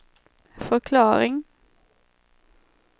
förklaring